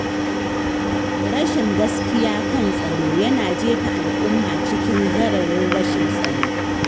Rashin gaskiya kan tsaro yana jefa al’umma cikin gararin rashin tsaro.